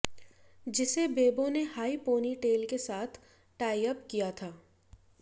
जिसे बेबो ने high ponytail के साथ टाइअप किया था